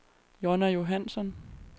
Jonna Johansson